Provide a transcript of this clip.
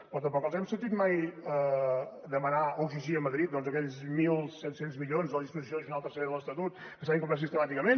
però tampoc els hem sentit mai demanar o exigir a madrid doncs aquells mil set cents milions de la disposició addicional tercera de l’estatut que s’ha incomplert sistemàticament